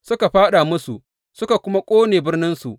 Suka fāɗa musu suka kuma ƙone birninsu.